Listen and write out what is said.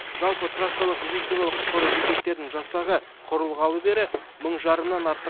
жалпы трассалық медициналық құтқару бекеттерінің жасағы құрылғалы бері мың жарымнан артық